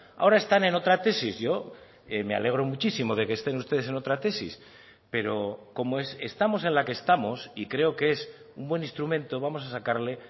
ahora están en otra tesis yo me alegro muchísimo de que estén ustedes en otra tesis pero como estamos en la que estamos y creo que es un buen instrumento vamos a sacarle